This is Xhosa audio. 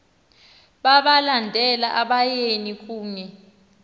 balandela abayeni kunye